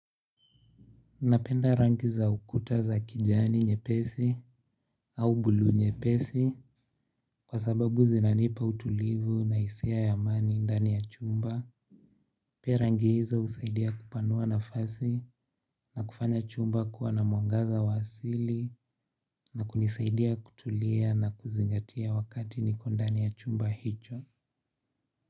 Napenda rangi za ukuta za kijani nyepesi, au blue nyepesi kwa sababu zinanipa utulivu na hisia ya amani ndani ya chumba. Pia rangi hizo husaidia kupanua nafasi na kufanya chumba kuwa na mwangaza wa asili na kunisaidia kutulia na kuzingatia wakati niko ndani ya chumba hicho. Kwa hivyo.